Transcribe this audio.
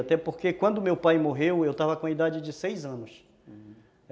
Até porque quando meu pai morreu, eu estava com a idade de seis anos, uhum.